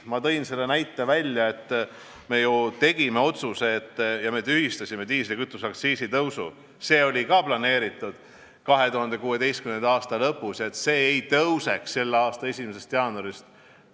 Ma tõin näite, et me tegime otsuse ja tühistasime diislikütuseaktsiisi tõusu – seda oli ka planeeritud 2016. aasta lõpus –, nii et see ei tõuseks selle aasta 1. jaanuarist.